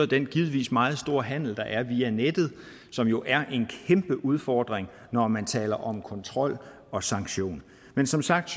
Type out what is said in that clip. den givetvis meget store handel der er via nettet som jo er en kæmpe udfordring når man taler om kontrol og sanktion men som sagt